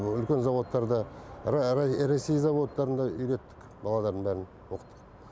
ресей заводтарында үйреттік баладардың бәрін оқыттық